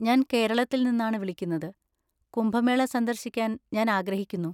ഞാൻ കേരളത്തിൽ നിന്നാണ് വിളിക്കുന്നത്, കുംഭമേള സന്ദർശിക്കാൻ ഞാൻ ആഗ്രഹിക്കുന്നു.